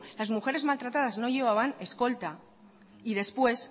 las mujeres maltratadas no llevaban escolta y después